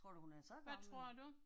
Tror du hun er så gammel?